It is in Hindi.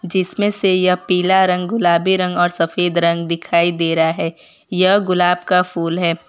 जिसमें से यह पीला रंग गुलाबी रंग और सफेद रंग दिखाई दे रहा है यह गुलाब का फूल है।